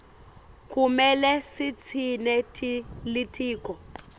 kumele sitsintse litiko